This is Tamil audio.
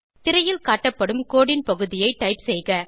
திரையில் காட்டப்படும் கோடு ன் பகுதியை டைப் செய்க